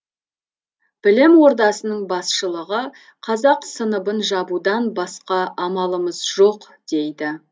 білім ордасының басшылығы қазақ сыныбын жабудан басқа амалымыз жоқ дейді